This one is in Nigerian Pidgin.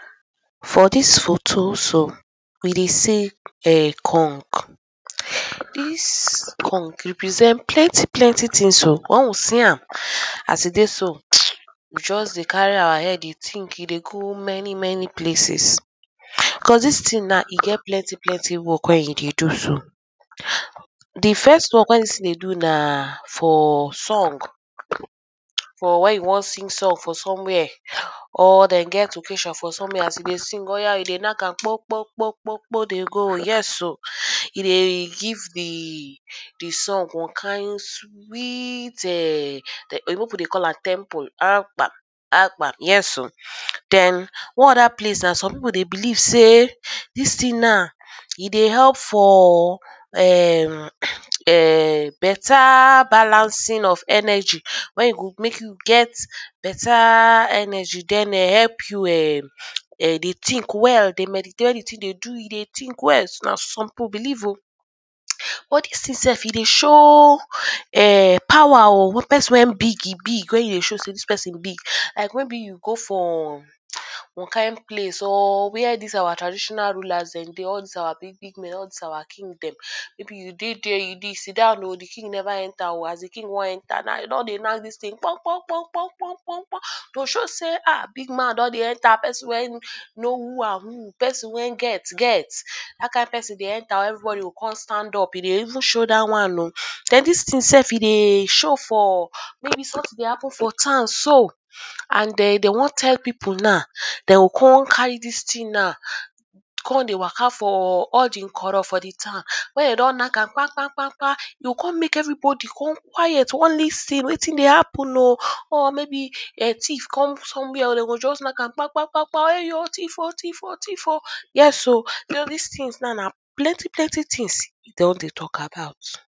for dis photo so, we dey see um gong, dis gong represent plenty plenty things oo. Once we see am as e dey so um, we just dey carry our head dey think dey go many many places, cause dis thing na, e get plenty plenty work wey e dey do so. De first work wey dis thing dey do na for song, for where you wan sing song for somewhere or dem get occasion for somewhere as you dey sing oya you dey knack am kpong kpong kpong kpong kpong dey go, yes oo, e dey give de de song one kind sweet um, oyibo people dey call am tempo, aragba, agba yes oo, then one other place some people dey believe sey dis thing now, e dey help for ehm um beta balancing of energy, when e go make you get beta energy then help you um dey think well, dey meditate, anything wey you dey do dey think well, na so some people believe oo. But dis thing sef e dey show um power oo person wey big, e big wey e dey show sey dis person big, like maybe you go for one kind place or where dis our traditional rulers dem dey, all dis our big big men, all dis our king dem, maybe you dey de, you de sidon oo de king neva enter oo, as de king wan enter dem don dey knack dis thing kpong kpong kpong kpong kpong kpong to show sey ah, big man don de enter, peron wey know who and who, person wey get get, that kind peron dey enter, everybody go con stand up e dey even show that one oo, then dis thing sef, e dey show for, maybe something dey happen for town so and dem wan tell people now, dey go come carry dis thing now come dey waka for all de nkoro for de town wey dem don knack am kpang kpang kpang kpang, e go come make everybody come quiet to wan really see wetin dey happen oo, or maybe thief come somewhere oo, dem go just knack am kpang kpang kpang ewoo, thief oo, thief oo, thief oo, yes oo so dis thing na plenty plenty things e don dey talk about.